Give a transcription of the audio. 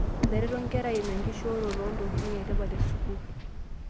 Etareto nkera aimu enkishooroto oo ntokitin e tipat e sukuul